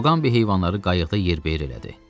Muqambi heyvanları qayıqda yerbeyer elədi.